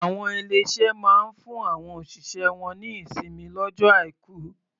Àwọn ilé-iṣé máa ń fún àwọn òṣìṣẹ́ wọ́n ní ìsinmi lọ́jọ́ Aìkù.